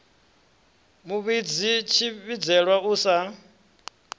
mu vhidzi tshivhidzelwa u sa